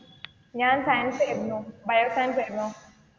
ഞാൻ സയൻസ് ആയിരുന്നു bio science ആയിരുന്നു.